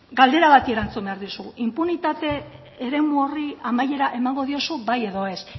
galdera bati erantzun behar duzu inpunitate eremu horri amaiera emango diozu bai edo ez